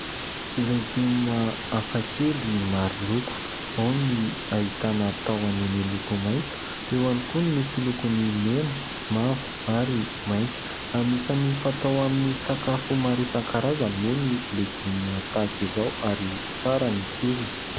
legioma hafakely maroloko. Ao ny ahitana taoany miloko maintso, eo ihany koa no misy lokony mena, mavo ary maintso. Anisany fatao amin'ny sakafo maro isankarazany moa ny legioma tahaka izao ary tsara ny tsirony.